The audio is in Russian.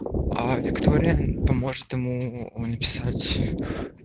виктория поможет ему написать